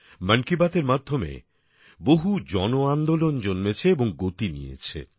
মন কি বাতএর মাধ্যমে বহু জন আন্দোলন জন্মেছে এবং গতি নিয়েছে